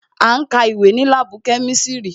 À ń ka ìwé ní láàbù kemisiri